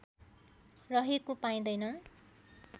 रहेको पाइँदैन